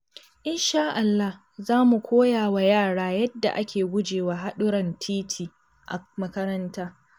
In sha Allah, za mu koya wa yara yadda ake guje wa haɗurran titi a makaranta.